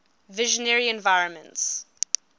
visionary environments